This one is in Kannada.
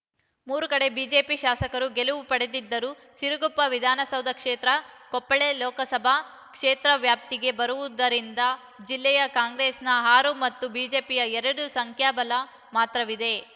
ಮೂರು ಕಡೆ ಬಿಜೆಪಿ ಶಾಸಕರು ಗೆಲುವು ಪಡೆದಿದ್ದರೂ ಸಿರುಗುಪ್ಪ ವಿಧಾನಸಭಾ ಕ್ಷೇತ್ರ ಕೊಪ್ಪಳ ಲೋಕಸಭಾ ಕ್ಷೇತ್ರ ವ್ಯಾಪ್ತಿಗೆ ಬರುವುದರಿಂದ ಜಿಲ್ಲೆಯ ಕಾಂಗ್ರೆಸ್‌ನ ಆರು ಮತ್ತು ಬಿಜೆಪಿಯ ಎರಡು ಸಂಖ್ಯಾಬಲ ಮಾತ್ರವಿದೆ